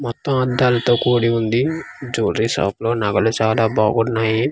మొత్తం అద్దాలతో కూడి ఉంది జువెలరీ షాప్ లో నగలు చాలా బాగున్నాయి.